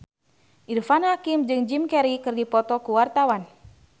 Irfan Hakim jeung Jim Carey keur dipoto ku wartawan